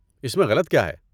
اس میں غلط کیا ہے؟